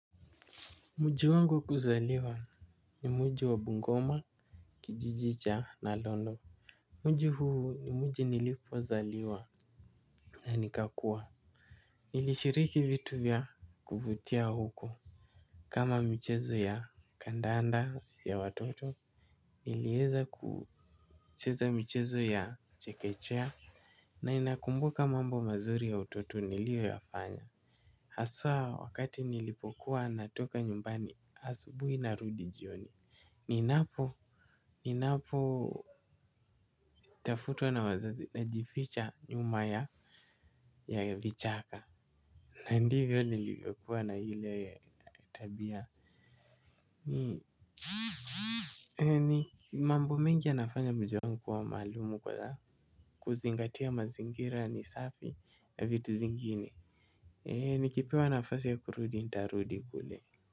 Mji wangu wa kuzaliwa ni mji wa bungoma kijiji cha nalondo. Mji huu ni mji nilipozaliwa na nikakua. Nilishiriki vitu vya kuvutia huko. Kama michezo ya kandanda ya watoto niliweza kucheza michezo ya chekechea. Na inakumbuka mambo mazuri ya utoto niliyo yafanya. Haswa wakati nilipokuwa natoka nyumbani asubuhi na rudi jioni. Ninapo ninapo tafutwa na wazazi najificha nyuma ya ya vichaka. Na ndivyo nilivyokuwa na ile tabia. Ni mambo mengi anafanya mjewa nikuwa maalumu kwa za kuzingatia mazingira ni safi ya vitu zingine. Nikipewa nafasi ya kurudi nitarudi kule.